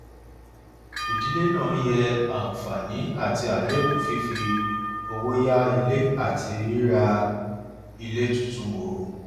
ìdílé náà yẹ àǹfààní àti àléébù fífi owó yá ilé àti rírà ilé tuntun wò